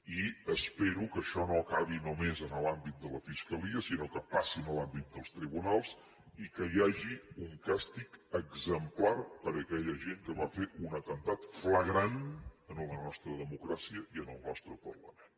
i espero que això no acabi només en l’àmbit de la fiscalia sinó que passi a l’àmbit dels tribunals i que hi hagi un càstig exemplar per a aquella gent que va fer un atemptat flagrant a la nostra democràcia i al nostre parlament